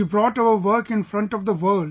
You brought our work in front of the world